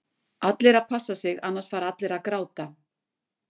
Allir að passa sig annars fara allir að gráta??